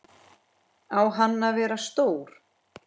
Á hann að vera stór?